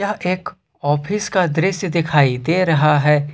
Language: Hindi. एक ऑफिस का दृश्य दिखाई दे रहा है।